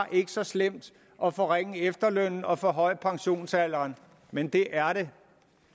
så slemt at forringe efterlønnen og forhøje pensionsalderen men det er det